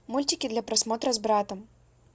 мультики для просмотра с братом